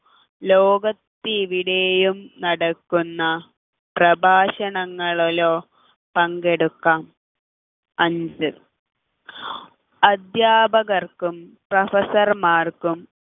ലോകത്ത് എവിടെയും നടത്തുന്ന പ്രഭാഷണങ്ങളിലോ പങ്കെടുക്കാം അഞ്ച് അധ്യാപകർക്കും professor മാർക്കും